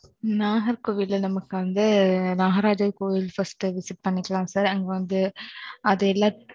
நாகர்கோவில்ல, நமக்கு வந்து, நாகராஜா கோயில், first visit பண்ணிக்கலாம் sir